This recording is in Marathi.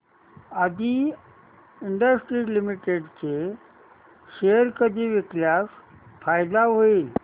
आदी इंडस्ट्रीज लिमिटेड चे शेअर कधी विकल्यास फायदा होईल